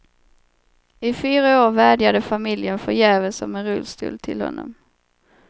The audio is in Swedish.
I fyra år vädjade familjen förgäves om en rullstol till honom.